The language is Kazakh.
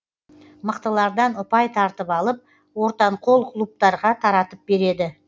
мықтылардан ұпай тартып алып ортанқол клубтарға таратып береді